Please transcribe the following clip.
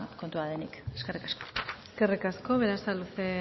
kontua denik eskerrik asko eskerrik asko berasaluze